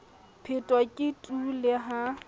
phetho ke tu le ha